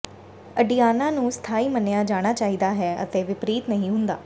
ਅਡਿਆਨਾ ਨੂੰ ਸਥਾਈ ਮੰਨਿਆ ਜਾਣਾ ਚਾਹੀਦਾ ਹੈ ਅਤੇ ਵਿਪਰੀਤ ਨਹੀਂ ਹੁੰਦਾ